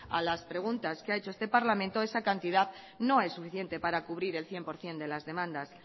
a las preguntas que ha hecho este parlamento esa cantidad no es suficiente para cubrir el cien por ciento de las demandas